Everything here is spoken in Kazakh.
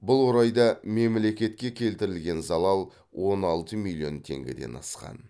бұл орайда мемлекетке келтірілген залал он алты миллион теңгеден асқан